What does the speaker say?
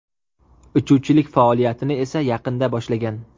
Uchuvchilik faoliyatini esa yaqinda boshlagan.